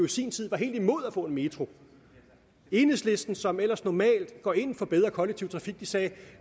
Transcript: sin tid var helt imod at få en metro enhedslisten som ellers normalt går ind for bedre kollektiv trafik sagde at